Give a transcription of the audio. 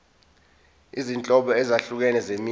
izinhlobo ezahlukene zemisho